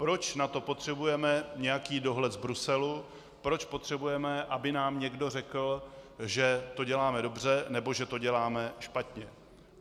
Proč na to potřebujeme nějaký dohled z Bruselu, proč potřebujeme, aby nám někdo řekl, že to děláme dobře, nebo že to děláme špatně?